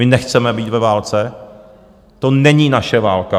My nechceme být ve válce, to není naše válka.